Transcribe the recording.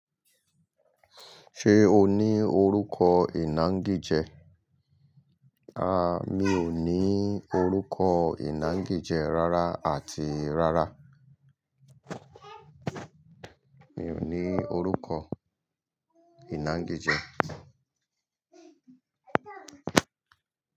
Ṣé o ní orúkọ ìná gíjẹ? A, mi ò ní orúkọ ìná gíjẹ rárá àti rárá. Mi ò ní orúkọ ìná gíjẹ.